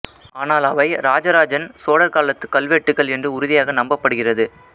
ஆனால் அவை இராஜாராஜன் சோழர் காலத்துக் கல்வெட்டுகள் என்று உறுதியாக நம்பப் படுகிறது